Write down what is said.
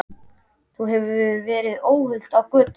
Þú verður ekki óhult á götunum.